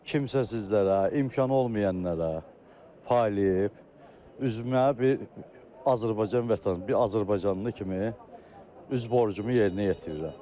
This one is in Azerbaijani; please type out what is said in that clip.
Kimsə sizlərə, imkanı olmayanlara paylayıb üzümə bir Azərbaycan vətən, bir azərbaycanlı kimi üz borcumu yerinə yetirirəm.